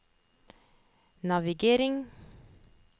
navigering